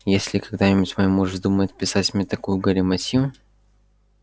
если когда-нибудь мой муж вздумает писать мне такую галиматью